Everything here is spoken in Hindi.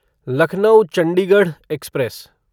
लखनऊ चंडीगढ़ एक्सप्रेस